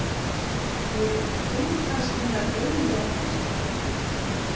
Voruð þið kannski hennar eiginlega fjölskylda?